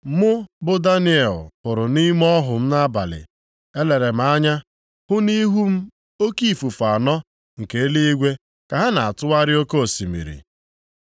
“Mụ bụ Daniel hụrụ nʼime ọhụ m nʼabalị, elere m anya, hụ nʼihu m oke ifufe anọ nke eluigwe ka ha na-atụgharị oke osimiri.